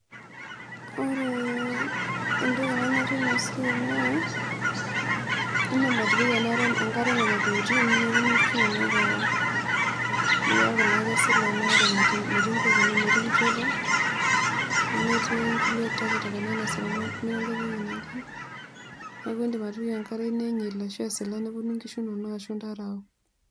Ore entoki nanyorie inasiai naa indim atipika enkare nonatokitin neponu nkishu inonok aaok amu keaku naa kesila inaare metii kukuni metii lchura nemetii nkulie takitakani anaa nemetii enkai toli natii, neaku indim atipika enkare esila neponu nkishu inonok ashu ntare aok.